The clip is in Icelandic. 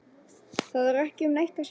Það er ekki um neitt að semja